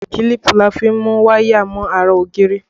Kílípù ni a fi mú waya mọ ara ògiri